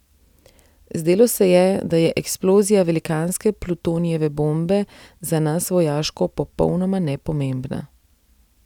Zdelo se je, da je eksplozija velikanske plutonijeve bombe za nas vojaško popolnoma nepomembna.